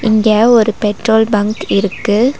இங்க ஒரு petrol bunk இருக்கு.